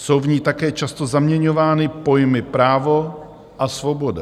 Jsou v ní také často zaměňovány pojmy právo a svoboda.